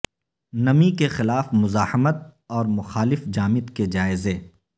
نمی کے خلاف مزاحمت اور مخالف جامد کے جائزے